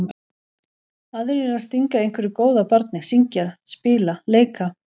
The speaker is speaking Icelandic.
Aðrir að stinga einhverju góðu að barni, syngja, spila, leika.